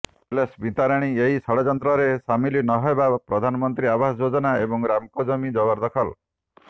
ହେଲେ ସ୍ମିତାରାଣୀ ଏହି ଷଡଯନ୍ତ୍ରରେ ସାମିଲ ନହେବା ପ୍ରଧାନମନ୍ତ୍ରୀ ଆବାସ ଯୋଜନା ଏବଂ ରାମକୋ ଜମି ଜବରଦଖଲ